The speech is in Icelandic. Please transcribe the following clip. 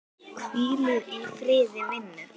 Hvíl í friði, vinur.